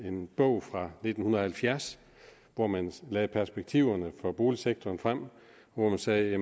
en bog fra nitten halvfjerds hvori man lagde perspektiverne for boligsektoren frem og hvori man sagde at